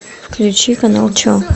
включи канал че